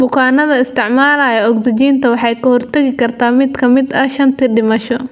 Bukaannada isticmaalaya ogsijiinta, waxay ka hortagi kartaa mid ka mid ah shantii dhimasho.